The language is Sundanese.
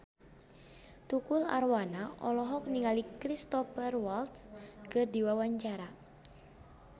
Tukul Arwana olohok ningali Cristhoper Waltz keur diwawancara